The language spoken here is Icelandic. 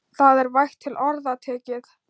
Það er vægt til orða tekið.